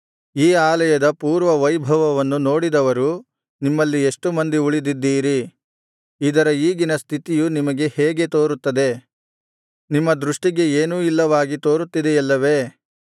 ಈ ಆಲಯದ ಪೂರ್ವ ವೈಭವವನ್ನು ನೋಡಿದವರು ನಿಮ್ಮಲ್ಲಿ ಎಷ್ಟು ಮಂದಿ ಉಳಿದಿದ್ದೀರಿ ಇದರ ಈಗಿನ ಸ್ಥಿತಿಯು ನಿಮಗೆ ಹೇಗೆ ತೋರುತ್ತದೆ ನಿಮ್ಮ ದೃಷ್ಟಿಗೆ ಏನೂ ಇಲ್ಲವಾಗಿ ತೋರುತ್ತಿದೆಯಲ್ಲವೇ